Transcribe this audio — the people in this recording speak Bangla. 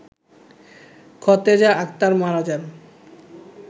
খতেজা আক্তার মারা যান